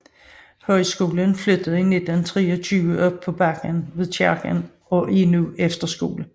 Højskolen flyttede 1923 op på bakken ved kirken og er nu efterskole